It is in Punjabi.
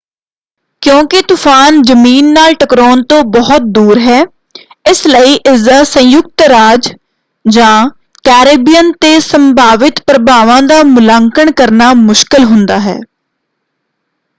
ਕਿਉਂਕਿ ਤੂਫਾਨ ਜਮੀਨ ਨਾਲ ਟਕਰਾਉਣ ਤੋਂ ਬਹੁਤ ਦੂਰ ਹੈ ਇਸ ਲਈ ਇਸਦਾ ਸੰਯੁਕਤ ਰਾਜ ਜਾਂ ਕੈਰੇਬੀਅਨ ਤੇ ਸੰਭਾਵਿਤ ਪ੍ਰਭਾਵਾਂ ਦਾ ਮੁਲਾਂਕਣ ਕਰਨਾ ਮੁਸ਼ਕਲ ਹੁੰਦਾ ਹੈ।